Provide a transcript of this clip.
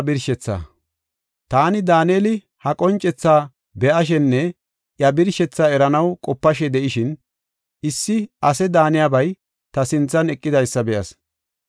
Taani, Daaneli, ha qoncethaa be7ashenne iya birshetha eranaw qopashe de7ishin, issi ase daaniyabay ta sinthan eqidaysa be7as.